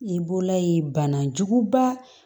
I bɔla yen bana juguba